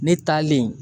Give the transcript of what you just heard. Ne taalen